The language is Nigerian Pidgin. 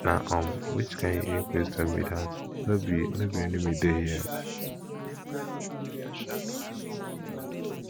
na um which kin yeye question be dat no be no be only me dey here oo